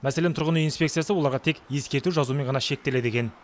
мәселен тұрғын үй инспекциясы оларға тек ескерту жазумен ғана шектеледі екен